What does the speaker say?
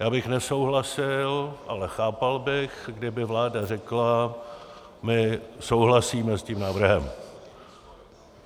Já bych nesouhlasil, ale chápal bych, kdyby vláda řekla "my souhlasíme s tím návrhem".